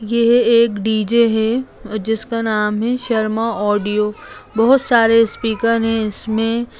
ये एक डी.जे. है जिसका नाम है शर्मा ऑडियो बहुत सारे स्पीकर है इसमे।